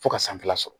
Fo ka sanfɛla sɔrɔ